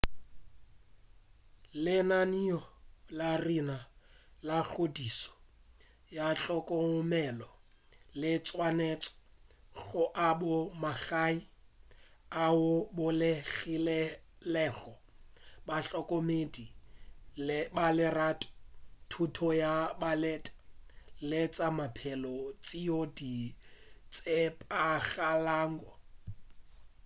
lenaneo la rena la kgodišo ya tlhokomelo le swanetše go aba magae ao a bolokegilego bahlokomedi ba lerato thuto ya maleba le tša maphelo tšeo di tshepagalago